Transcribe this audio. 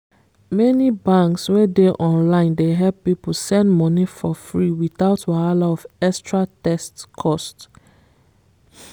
many banks wey dey online dey help people send money for freewithout wahala of extra text cost